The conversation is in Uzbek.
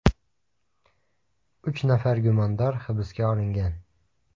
Uch nafar gumondor hibsga olingan.